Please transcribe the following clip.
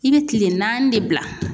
I bɛ kile naani de bila.